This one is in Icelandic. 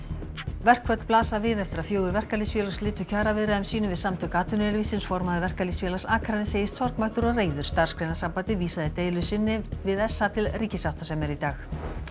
verkföll blasa við eftir að fjögur verkalýðsfélög slitu kjaraviðræðum sínum við Samtök atvinnulífsins formaður Verkalýðsfélags Akraness segist sorgmæddur og reiður Starfsgreinasambandið vísaði deilu sinni við s a til ríkissáttasemjara í dag